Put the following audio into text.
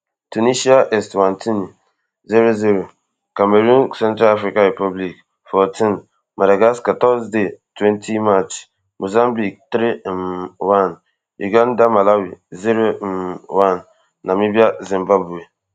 tunisia eswatini zero zero cameroon central african republic fourteen madagascar thursday twenty march mozambique three um one uganda malawi zero um one namibia zimbabwe